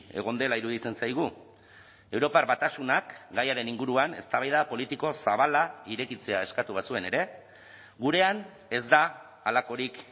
egon dela iruditzen zaigu europar batasunak gaiaren inguruan eztabaida politiko zabala irekitzea eskatu bazuen ere gurean ez da halakorik